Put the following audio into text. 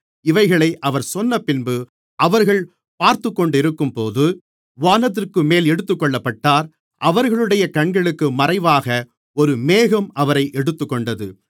இவைகளை அவர் சொன்னபின்பு அவர்கள் பார்த்துக்கொண்டிருக்கும்போது வானத்திற்குமேல் எடுத்துக்கொள்ளப்பட்டார் அவர்களுடைய கண்களுக்கு மறைவாக ஒரு மேகம் அவரை எடுத்துக்கொண்டது